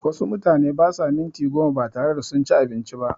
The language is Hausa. Wasu mutane basa minti goma batare da sunci abinci ba